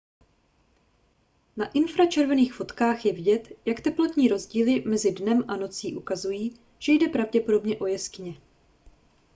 na infračervených fotkách je vidět jak teplotní rozdíly mezi dnem a nocí ukazují že jde pravděpodobně o jeskyně